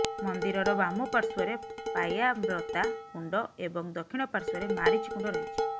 ମନ୍ଦିରର ବାମ ପାର୍ଶ୍ୱରେ ପାୟାମ୍ରତା କୁଣ୍ଡ ଏବଂ ଦକ୍ଷିଣ ପାର୍ଶ୍ୱରେ ମାରିଚି କୁଣ୍ଡ ରହିଛି